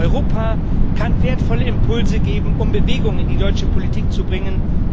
Europa kann wertvolle Impulse geben, um Bewegung in die deutsche Politik zu bringen.